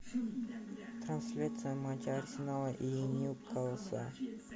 трансляция матча арсенала и ньюкасла